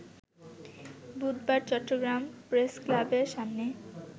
বুধবার চট্টগ্রাম প্রেসক্লাবের সামনে